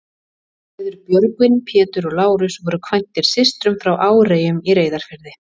Þeir bræður, Björgvin, Pétur og Lárus, voru kvæntir systrum frá Áreyjum í Reyðarfirði.